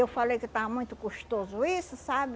Eu falei que estava muito custoso isso, sabe?